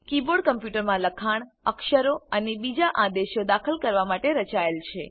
keyboard કમ્પ્યુટરમાં લખાણ અક્ષરો અને બીજા આદેશો દાખલ કરવા માટે રચાયેલ છે